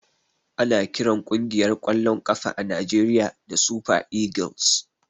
Ana kiran kungiyar kwallon kafa na Najeriya da " super eagles".